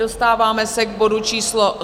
Dostáváme se k bodu číslo